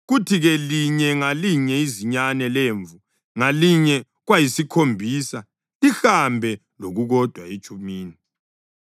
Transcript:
kuthi-ke linye ngalinye izinyane lemvu ngalinye kwayisikhombisa, lihambe lokukodwa etshumini.